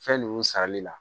Fɛn ninnu sarali la